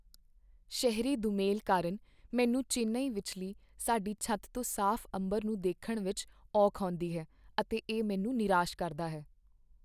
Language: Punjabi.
ਸ਼ਹਿਰੀ ਦੁਮੇਲ ਕਾਰਣ ਮੈਨੂੰ ਚੇਨਈ ਵਿੱਚੱਲੀ ਸਾਡੀ ਛੱਤ ਤੋਂ ਸਾਫ਼ ਅੰਬਰ ਨੂੰ ਦੇਖਣ ਵਿਚ ਔਖ ਆਉਂਦੀ ਹੈ ਅਤੇ ਇਹ ਮੈਨੂੰ ਨਿਰਾਸ਼ ਕਰਦਾ ਹੈ।